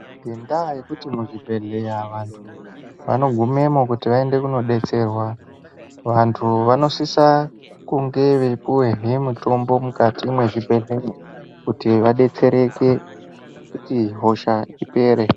Ngenda yekuti mu zvibhedhleya vantu vano gumemo kuti vaende kuno detserwa vantu vanosisa kunge vei puwe he mutombo mukati mwe zvibhedhleya kuti va betsereke kuti hosha ipere.